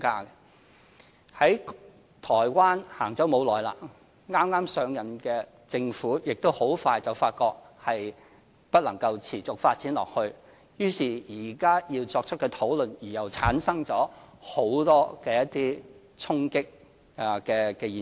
有關制度在台灣實行不久，剛剛上任的政府亦很快發覺不能持續發展下去，於是現在要作出討論而又產生了很多衝擊的現象。